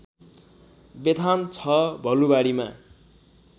Bethan ६ भलुवाडीमा